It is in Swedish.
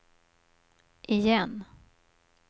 igen